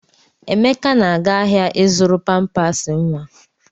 Emeka na-aga ahịa ịzụrụ pampas nwa.